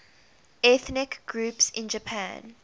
ethnic groups in japan